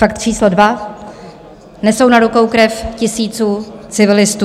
Fakt číslo dva - nesou na rukou krev tisíců civilistů.